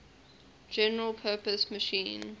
general purpose machine